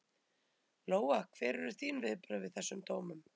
Lóa: Hver eru þín viðbrögð við þessum dómum?